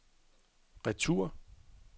retur